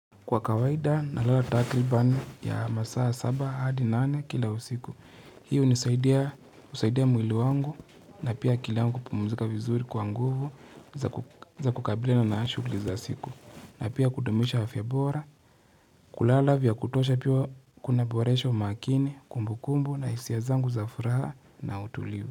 Kwa kawaida na lala takriban ya masaa saba hadi nane kila usiku. Hio uzaidia mwili wangu na pia akili yangu pumuzika vizuri kwa nguvu za kukabili na naashukuliza siku. Na pia kudumisha afya bora kulala vya kutosha pia kuna boresho umakini kumbu kumbu na hisia zangu za furaha na utuliu.